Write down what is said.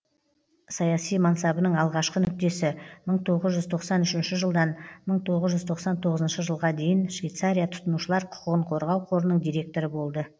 саяси мансабының алғашқы нүктесі мың тоғыз жүз тоқсан үшінші жылдан мың тоғыз жүз тоқсан тоғызыншы жылға дейін швейцария тұтынушылар құқығын қорғау қорының директоры болды